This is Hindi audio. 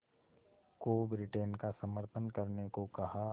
को ब्रिटेन का समर्थन करने को कहा